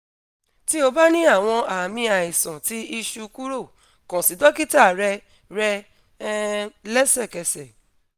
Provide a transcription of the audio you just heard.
ti o ba ni awọn aami aisan ti iṣu kuro kan si dokita rẹ rẹ um lẹsẹkẹsẹ